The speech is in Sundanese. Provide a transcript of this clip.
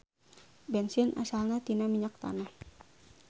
Bensin asalna tina minyak tanah.